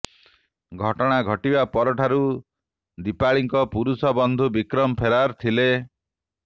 ଘଟଣା ଘଟିବା ପରଠାରୁ ଦୀପାଳିଙ୍କ ପୁରୁଷ ବନ୍ଧୁ ବିକ୍ରମ ଫେରାର ଥିଲେ